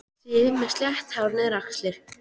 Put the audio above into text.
Sif með slétt hárið niður á axlir.